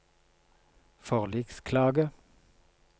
forliksklage